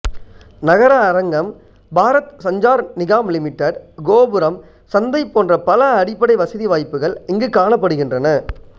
நகர அரங்கம் பாரத் சஞ்சார் நிகாம் லிமிடெட் கோபுரம் சந்தை போன்ற பல அடிப்படை வசதி வாய்ப்புகள் இங்குக் காணப்படுகின்றன